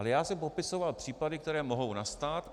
Ale já jsem popisoval případy, které mohou nastat.